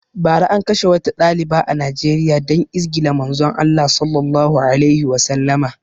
Bara an kashe wata ɗaliba a Nijeriya dan izgila Manzon Allah Sallallahu alaihi Wasallama